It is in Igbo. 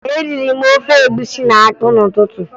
Eriri m ofe egwusi na akpụ n'ụtụtụ